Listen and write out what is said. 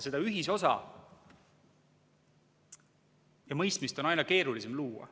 Seda ühisosa ja mõistmist on aina keerulisem luua.